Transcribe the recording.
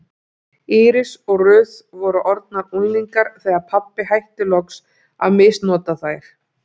Íris og Ruth voru orðnar unglingar þegar pabbi hætti loks að misnota þær.